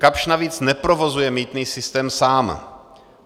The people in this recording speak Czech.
Kapsch navíc neprovozuje mýtný systém sám.